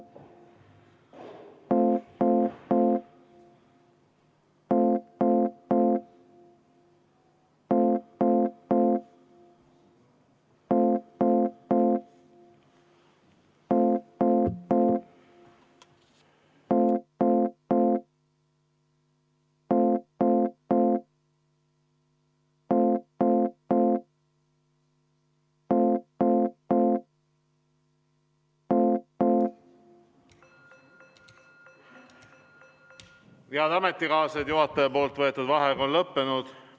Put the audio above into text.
Head ametikaaslased, juhataja võetud vaheaeg on lõppenud.